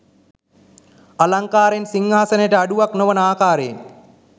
අලංකාරයෙන් සිංහාසනයට අඩුවක් නොවන ආකාරයෙන්